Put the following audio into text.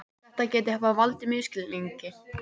Þetta geti hafa valdið misskilningi